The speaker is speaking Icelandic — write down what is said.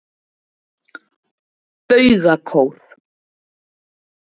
Baugakór